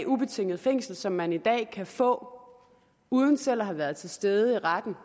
ubetinget fængsel som man i dag kan få uden selv at have været til stede i retten